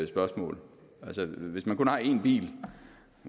spørgsmål altså hvis man kun har én bil